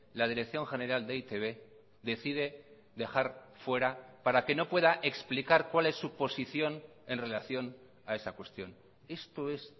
la dirección general de e i te be decide dejar fuera para que no pueda explicar cuál es su posición en relación a esa cuestión esto es